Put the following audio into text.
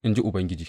in ji Ubangiji.